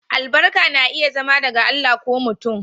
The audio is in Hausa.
Albarku na iya zama daga Allah ko mutum.